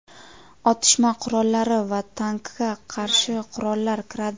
otishma qurollari va tankga qarshi qurollar kiradi.